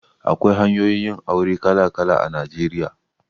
Akwai hanyoyin yin aure kala kala a Najeriya.